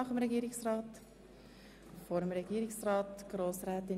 Wünscht die Motionärin vor oder nach dem Regierungsrat das Wort?